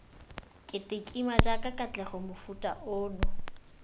ketekima jaaka katlego mofuta ono